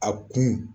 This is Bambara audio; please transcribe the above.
A kun